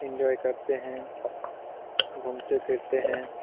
Enjoy करते हैं। घूमते-फिरते हैं।